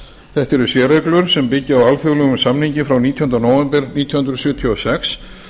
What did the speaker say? þetta eru sérreglur sem byggja á alþjóðlegum samningi frá nítjánda nóvember nítján hundruð sjötíu og sex